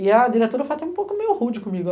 E a diretora, de fato, é um pouco meio rude comigo.